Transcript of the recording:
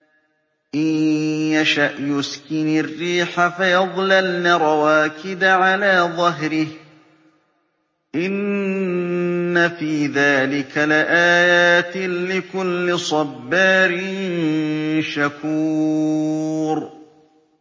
إِن يَشَأْ يُسْكِنِ الرِّيحَ فَيَظْلَلْنَ رَوَاكِدَ عَلَىٰ ظَهْرِهِ ۚ إِنَّ فِي ذَٰلِكَ لَآيَاتٍ لِّكُلِّ صَبَّارٍ شَكُورٍ